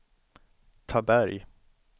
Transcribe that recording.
Taberg